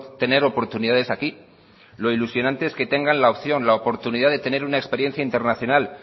tener oportunidades aquí lo ilusionante es que tengan la opción la oportunidad de tener una experiencia internacional